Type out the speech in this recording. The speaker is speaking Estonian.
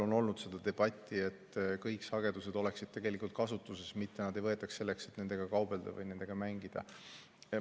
On olnud debatti selle üle, et kõik sagedused oleksid tegelikult kasutuses, mitte neid ei võetaks selleks, et nendega kaubelda või nendega mängida.